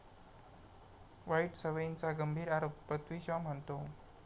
वाईट सवयींचा गंभीर आरोप, पृथ्वी शॉ म्हणतो...